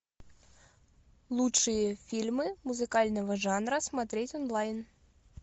лучшие фильмы музыкального жанра смотреть онлайн